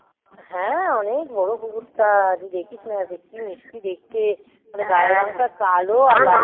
হ্যাঁ অনেক বড় কুকুরটা তুই দেখিস না কি মিষ্টি দেখতে গায়ের রঙটা কালো